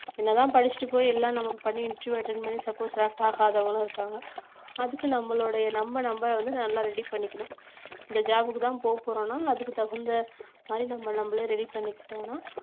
என்னதான் படிச்சுட்டு போய் எல்லாம் நம்ம பண்ணி interviewattend பண்ணி supposeselect ஆகாதவங்களும் இருக்காங்க அதுக்கு நம்மளுடைய நம்ம நம்ம வந்து நல்லா ready பண்ணிக்கணும் இந்த job க்குதான் போப்போறோம்னா அதுக்கு தகுந்தமாறி நம்ம நம்மளே ready பண்ணிக்கிட்டோம்ன்னா